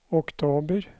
oktober